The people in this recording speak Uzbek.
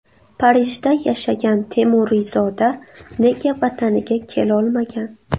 Parijda yashagan temuriyzoda nega Vataniga kelolmagan?.